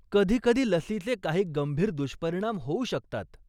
कधीकधी लसीचे काही गंभीर दुष्परिणाम होऊ शकतात.